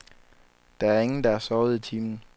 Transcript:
Der er ingen, der har sovet i timen.